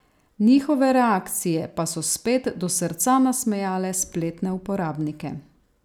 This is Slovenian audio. Njihove reakcije pa so spet do srca nasmejale spletne uporabnike.